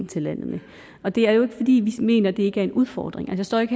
til landet med og det er jo ikke fordi vi mener at det ikke er en udfordring jeg står ikke